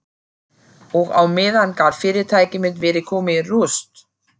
Og á meðan gat fyrirtæki mitt verið komið í rúst.